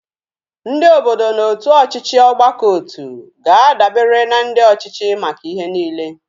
Ndị obodo na otu ọchịchị ọgbakọotu ga-adabere na ndị ọchịchị maka ihe niile